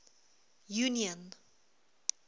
union